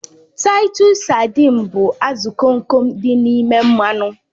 Taitus sadịn bụ azụ Kom Kom dị n'ime mmanụ